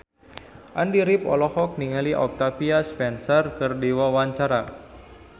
Andy rif olohok ningali Octavia Spencer keur diwawancara